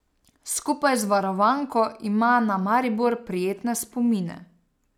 Skupaj z varovanko ima na Maribor prijetne spomine.